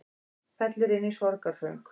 Fellur inn í sorgarsöng